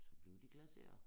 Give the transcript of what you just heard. Så bliver de glaseret